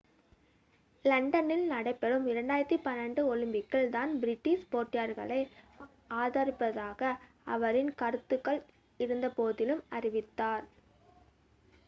லண்டனில் நடைபெறும் 2012 ஒலிம்பிக்கில் தான் பிரிட்டிஷ் போட்டியாளர்களை ஆதரிப்பதாக அவரின் கருத்துக்கள் இருந்தபோதிலும் அறிவித்தார்